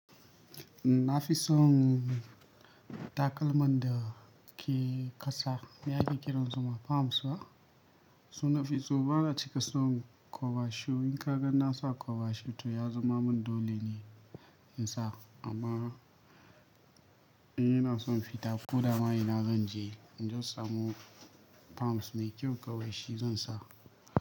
Na fi son takalman da ke ƙasa. Ya ake ƙiran su ma palms ba. Su nafi so. Ba na cika son kwaba shi. In ka gan na sa kwaba shoe to ya zama min dole ne in sa. Amma in ina son fita, ko da ma ina zanje in zan samu palms mai kyau kawai shi zan sa.